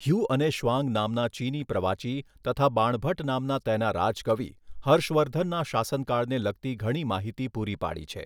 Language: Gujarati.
હ્યુ અને શ્વાંગ નામના ચીની પ્રવાસી તથા બાણભટ્ટ નામના તેના રાજકવિ હર્ષવર્ધનના શાસનકાળને લગતી ઘણી માહિતી પૂરી પાડી છે.